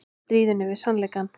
Stríðinu við sannleikann